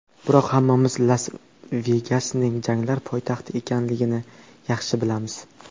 Biroq hammamiz Las-Vegasning janglar poytaxti ekanligini yaxshi bilamiz.